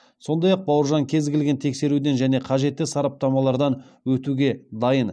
сондай ақ бауыржан кез келген тексеруден және қажетті сараптамалардан өтуге дайын